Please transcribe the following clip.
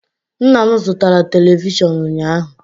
Nna m zụtara televishọn ụnyaahụ.